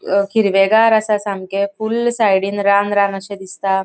अ हिरवेगार असा सामके फुल्ल साइडीन रान रान अशे दिसता.